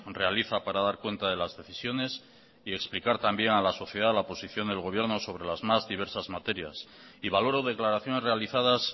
realiza para dar cuenta de las decisiones y explicar también a la sociedad la posición del gobierno sobre las más diversas materias y valoró declaraciones realizadas